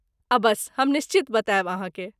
अबस्स हम निश्चित बतायब अहाँकेँ।